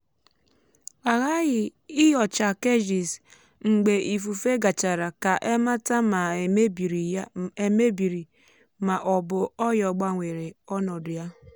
a ghaghị inyocha cages mgbe ifufe gachara ka e mata ma e mebiri ma ọ bụ ọyò gbanwere ọnọdụ ya